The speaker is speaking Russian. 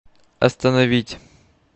остановить